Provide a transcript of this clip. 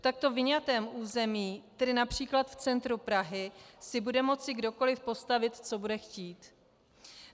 V takto vyňatém území, tedy například v centru Prahy, si bude moci kdokoliv postavit, co bude chtít.